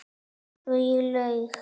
Svo ég laug.